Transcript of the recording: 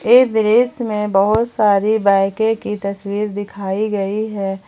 ये दृश्य में बहुत सारी बाईकें की तस्वीर दिखाई गई है।